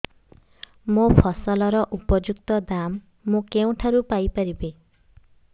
ମୋ ଫସଲର ଉପଯୁକ୍ତ ଦାମ୍ ମୁଁ କେଉଁଠାରୁ ପାଇ ପାରିବି